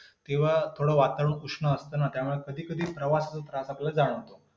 अधिभौतिक दुःख पृथ्वीतला तलावरील भौतिक पदार्थांपासून होणारी दुःखी म्हणजे अधिभौतिक दुःख होईल. उदाहरणार्थ साप , वाघ ,चोर ,शास्त्रक्रोमी.